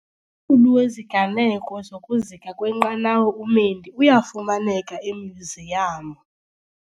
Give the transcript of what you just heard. qulu weziganeko zokuzika kwenqanawa uMendi uyafumaneka emyuziyamu.